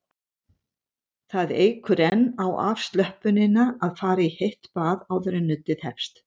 Það eykur enn á afslöppunina að fara í heitt bað áður en nuddið hefst.